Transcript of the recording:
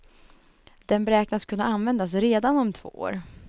Den beräknas kunna användas redan om två år.